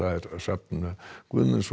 Hrafn Guðmundsson